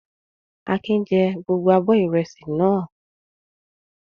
Akin jẹ gbogbo abọ́ ìrẹsì náà.